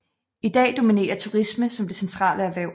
I dag dominerer turisme som det centrale erhverv